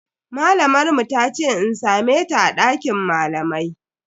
Malamar mu tace in same ta a dakin malamai.